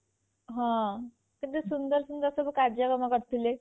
ହଁ କେତେ ସୁନ୍ଦର ସୁନ୍ଦର ସବୁ କାର୍ଯ୍ୟକ୍ରମ କରିଥିଲେ ସବୁ